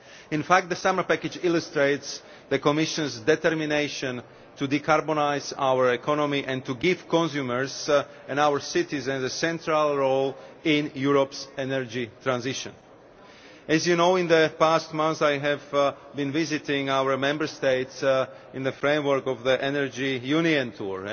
In fact, the summer package illustrates the Commission's determination to decarbonise our economy and to give consumers and our citizens a central role in Europe's energy transition. As Members will know, in the past months I have been visiting our Member States in the framework of the Energy Union tour.